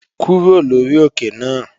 Kúrò lórí òkè náà!